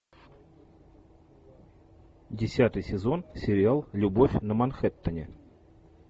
десятый сезон сериал любовь на манхэттене